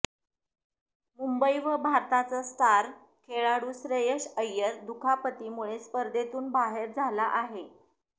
मुंबई व भारताचा स्टार खेळाडू श्रेयस अय्यर दुखापतीमुळे स्पर्धेतून बाहेर झाला आहे